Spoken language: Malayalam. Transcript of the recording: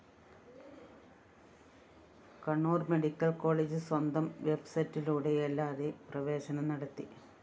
കണ്ണൂര്‍ മെഡിക്കൽ കോളേജ്‌ സ്വന്തം വെബ് സൈറ്റിലൂടെയല്ലാതെ പ്രവേശനം നടത്തി